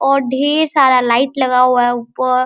और ढेर सारा लाइट लगा हुआ है ऊपर।